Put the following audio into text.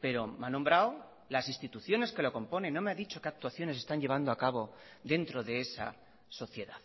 pero me ha nombrado las instituciones que lo componen no me ha dicho que actuaciones están llevando acabo dentro de esa sociedad